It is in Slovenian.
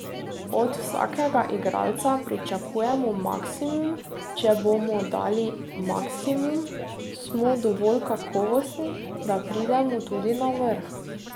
Od vsakega igralca pričakujemo maksimum, če bomo dali maksimum, smo dovolj kakovostni, da pridemo tudi na vrh.